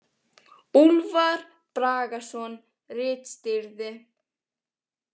Úlfar Bragason ritstýrði.